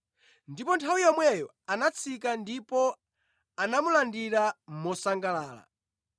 Ndipo nthawi yomweyo anatsika ndipo anamulandira mosangalala.